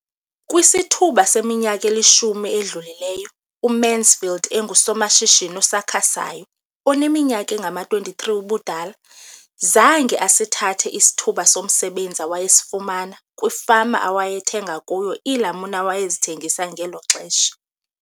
Kwisithuba seminyaka elishumi edlulileyo, uMansfield engusomashishini osakhasayo oneminyaka engama-23 ubudala, zange asithathe isithuba somsebenzi awayesifumana kwifama awayethenga kuyo iilamuni awayezithengisa ngelo xesha.